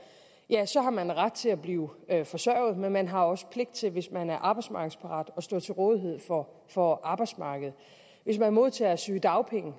ja så har man ret til at blive forsørget men man har også pligt til hvis man er arbejdsmarkedsparat at stå til rådighed for for arbejdsmarkedet hvis man modtager sygedagpenge